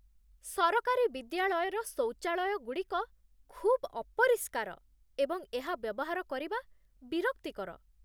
ସରକାରୀ ବିଦ୍ୟାଳୟର ଶୌଚାଳୟଗୁଡ଼ିକ ଖୁବ୍ ଅପରିଷ୍କାର ଏବଂ ଏହା ବ୍ୟବହାର କରିବା ବିରକ୍ତିକର।